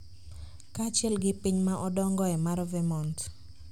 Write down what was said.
kaachiel gi piny ma odongoe mar Vermont